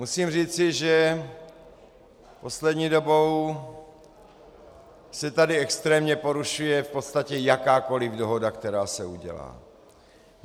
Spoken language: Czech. Musím říci, že poslední dobou se tady extrémně porušuje v podstatě jakákoliv dohoda, která se udělá.